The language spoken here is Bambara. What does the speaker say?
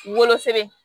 Wolosɛbɛn